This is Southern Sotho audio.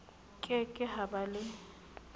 ke ke ha ba le